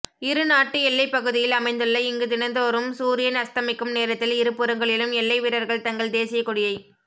இருநாட்டு எல்லைப்பகுதியில் அமைந்துள்ள இங்கு தினந்தோறும் சூரியன் அஸ்தமிக்கும் நேரத்தில் இருபுறங்களிலும் எல்லை வீரர்கள் தங்கள் தேசிய கொடியை